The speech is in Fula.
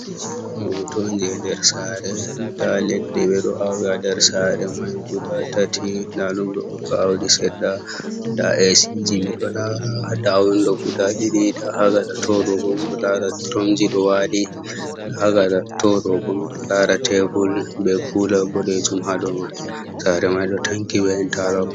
Ɗo hoto on je nder sare, nda leɗɗe ɓeɗo awi ha nder sare man guda tati nda ɗum ɗo hoka ɗaudi seɗɗa, nda ac ji miɗo lara, nda windo guda ɗiɗi, nda ha gaɗa to ɗo bo miɗo lara duromji ɗo wali, ha gaɗa to ɗo bo miɗo lara tebul be kula boɗejum ha dou man, sare man ɗo tanki be interlok.